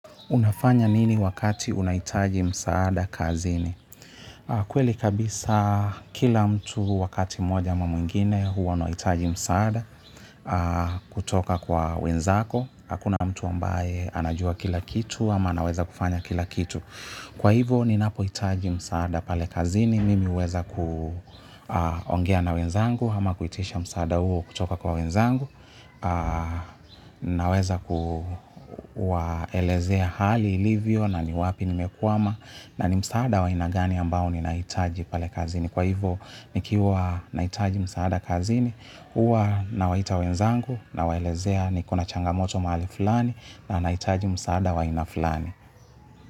Unafanya nini wakati unahitaji msaada kazini. Kweli kabisa kila mtu wakati moja ama mwingine huwa anahitaji msaada kutoka kwa wenzako. Hakuna mtu ambaye anajua kila kitu ama anaweza kufanya kila kitu. Kwa hivyo ninapo hitaji msaada pale kazini, mimi huweza kuongea na wenzangu, ama kuitisha msaada huo kutoka kwa wenzangu naweza kuwaelezea hali ilivyo na ni wapi nimekwama na ni msaada wa ainagani ambao ninahitaji pale kazini kwa hivo nikiwa nahitaji msaada kazini hua nawaita wenzangu nawaelezea nikona changamoto mahali fulani na nahitaji msaada wa aina fulani.